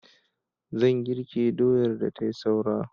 Zan girke doyar da tai saura.